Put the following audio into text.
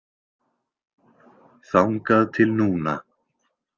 Þangað til núna.